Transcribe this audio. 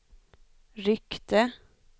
ryckte